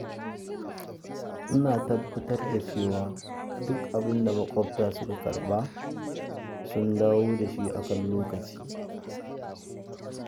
Ina tabbatar da cewa duk abin da maƙwabta suka karɓa, sun dawo da shi a kan lokaci.